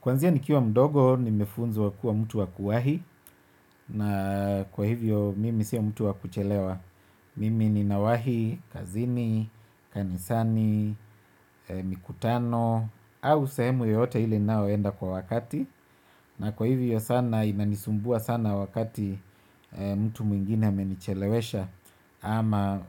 Kwanzia nikiwa mdogo nimefunzwa kuwa mtu wa kuwahi na kwa hivyo mimi sio mtu wakuchelewa. Mimi ninawahi, kazini, kanisani, mikutano, au sehemu yote ile ninaoenda kwa wakati. Na kwa hivyo sana inanisumbua sana wakati mtu mwingine amenichelewesha ama